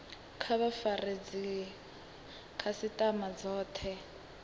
kha vha fare dzikhasitama dzothe